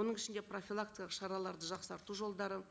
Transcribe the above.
оның ішінде профилактикалық шараларды жақсарту жолдарын